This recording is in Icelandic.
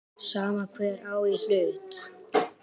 Sama hver á í hlut.